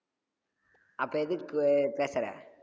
அப்போ எதுக்கு பேசுற